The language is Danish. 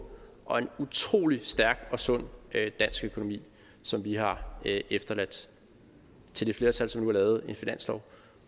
og en utrolig stærk og sund dansk økonomi som vi har efterladt til det flertal som nu har lavet en finanslov